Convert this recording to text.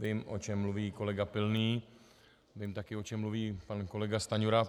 Vím, o čem mluví kolega Pilný, vím také, o čem mluví pan kolega Stanjura.